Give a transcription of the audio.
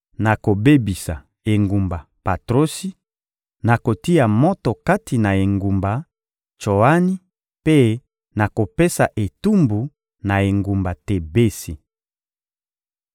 Nakobebisa engumba Patrosi, nakotia moto kati na engumba Tsoani mpe nakopesa etumbu na engumba Tebesi.